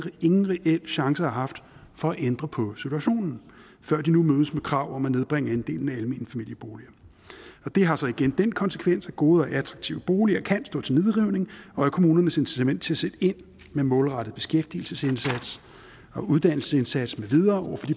ingen reel chance har haft for at ændre på situationen før de nu mødes med krav om at nedbringe andelen af almene familieboliger og det har så igen den konsekvens at gode og attraktive boliger kan stå til nedrivning og at kommunernes incitament til sætte ind med målrettet beskæftigelsesindsats og uddannelsesindsats med videre